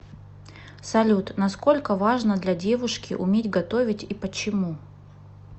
салют насколько важно для девушки уметь готовить и почему